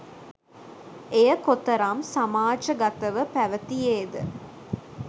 එය කොතරම් සමාජගතව පැවතියේද